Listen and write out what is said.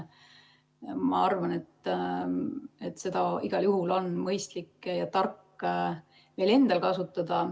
Ma arvan, et seda on igal juhul mõistlik ja tark meil endal kasutada.